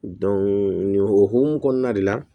nin hokumu kɔnɔna de la